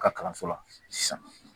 U ka kalanso la sisan